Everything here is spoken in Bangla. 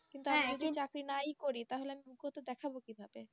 নাই করি তাহলে আমি দেখাবো কিভাবে